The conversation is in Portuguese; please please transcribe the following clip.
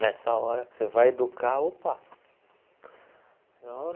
Nessa hora que você vai educar, opa!